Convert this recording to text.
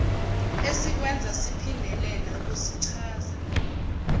esikwenza siphindelela kusichaza